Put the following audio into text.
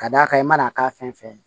Ka d'a kan i mana k'a fɛn fɛn ye